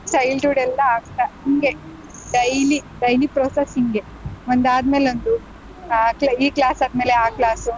Childhood ಎಲ್ಲಾ ಆಗ್ತಾ ಹಿಂಗೇ daily daily process ಹಿಂಗೆ ಒಂದಾದ್ಮೇಲ್ ಒಂದು ಆ ಈ class ಆದ್ಮೇಲೆ ಆ class .